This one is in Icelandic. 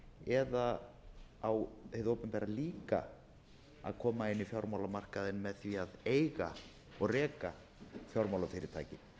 eða á hið opinbera líka að koma inn í fjármálamarkaðinn með því að eiga og reka fjármálafyrirtæki